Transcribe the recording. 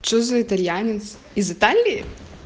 что за итальянец из италии